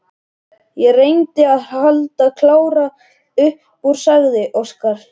Ég reyndi að halda Kára upp úr, sagði Óskar.